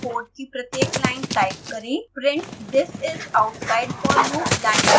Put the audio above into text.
printthis is outside forloop line छोड़ दें